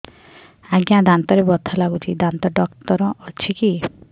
ଆଜ୍ଞା ଦାନ୍ତରେ ବଥା ଲାଗୁଚି ଦାନ୍ତ ଡାକ୍ତର ଅଛି କି